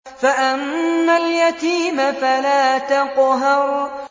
فَأَمَّا الْيَتِيمَ فَلَا تَقْهَرْ